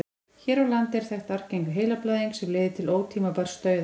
hér á landi er þekkt arfgeng heilablæðing sem leiðir til ótímabærs dauða